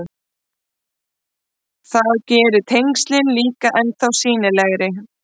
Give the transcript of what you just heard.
Það gerir tengslin líka ennþá sýnilegri.